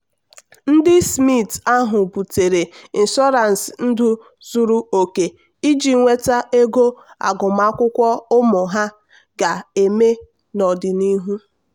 ndị smith ahụ butere ịnshọransị ndụ zuru oke iji nweta ego agụmakwụkwọ ụmụ ha ga-eme n'ọdịnihu.